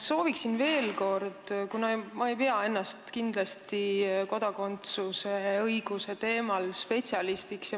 Sooviksin veel kord selgitust, kuna ma ei pea ennast kindlasti mitte kodakondsusõiguse valdkonnas spetsialistiks.